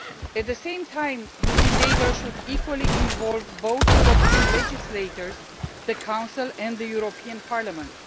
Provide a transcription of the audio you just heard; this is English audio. At the same time, this endeavour should equally involve both European legislators the Council and the European Parliament.